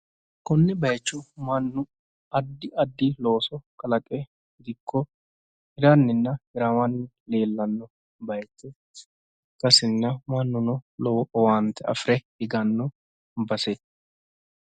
Konne bayicho mannu addi addi looso kalaqenna dikkiranni afamanno baseeti